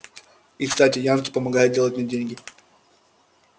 и кстати янки помогают делать мне деньги